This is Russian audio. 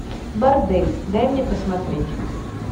бордель дай мне посмотреть